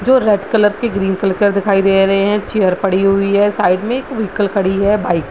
जो red colour के green colour के दिखाई दे रहे हैं | चेयर पड़ी हुई है साइड में एक वेक्ल खड़ी है बाइक --